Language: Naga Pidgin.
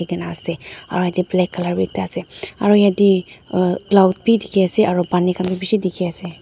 huikae naase aro yatae black colour bi ekta ase aro yatae cloud bi dikhiase aro pani khan bi bishi dikhiase.